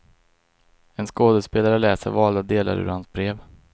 En skådespelare läser valda delar ur hans brev.